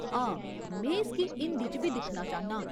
हां, में इसगी हिंदी च बी दिक्खना चाह्न्नां ।